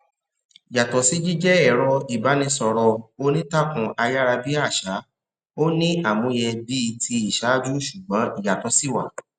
yàtò sí jíjé èrọ ìbánisòrò onítàkùn ayára bí àṣá ó ní àmúyẹ bíi ti ìṣáájú ṣùgbón ìyàtò sì wà